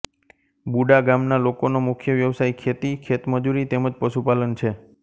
બુડા ગામના લોકોનો મુખ્ય વ્યવસાય ખેતી ખેતમજૂરી તેમ જ પશુપાલન છે